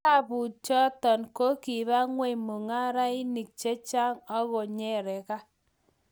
tabanutan choto ko kiba ng'ony mung'arenik che chang' aku nyeraka